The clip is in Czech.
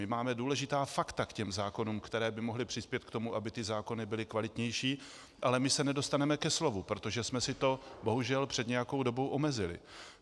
My máme důležitá fakta k těm zákonům, která by mohla přispět k tomu, aby ty zákony byly kvalitnější, ale my se nedostaneme ke slovu, protože jsme si to bohužel před nějakou dobou omezili.